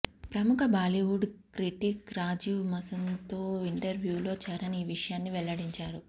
ప్రముఖ బాలీవుడ్ క్రిటిక్ రాజీవ్ మసంద్తో ఇంటర్వ్యూలో చరణ్ ఈ విషయాన్ని వెల్లడించాడు